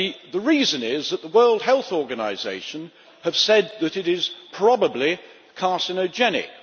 The reason is that the World Health Organisation has said that it is probably carcinogenic.